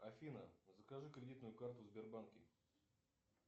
афина закажи кредитную карту в сбербанке